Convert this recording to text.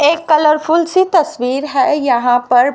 एक कलरफुल सी तस्वीर है यहां पर।